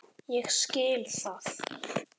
Ég skil það!